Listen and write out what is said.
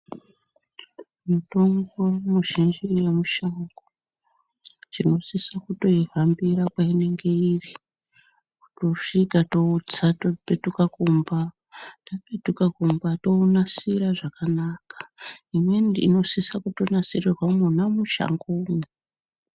Mitombo mizhinji yemushango tinosise kutoihambira kweinenge iri tosvika totsa topetuka kumba. Tapetuka kumba tounasira zvakanaka. Imweni inosise kuto asirirwa mwona mushangomwo.